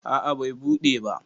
a a Bai buɗe ba